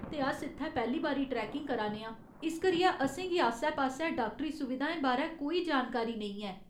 ते अस इत्थै पैह्‌ली बारी ट्रैकिंग करा ने आं, इस करियै असेंगी आसै पासै डाक्टरी सुविधाएं बारै कोई जानकारी नेईं ऐ।